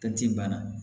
Taji banna